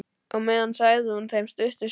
Á meðan sagði hún þeim stutta sögu.